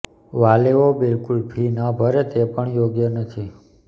વાલીઓ બિલકુલ ફી ન ભરે તે પણ યોગ્ય નથી